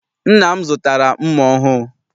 Nna m zụtara mma ọhụụ.